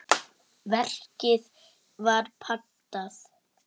Verkið var pantað.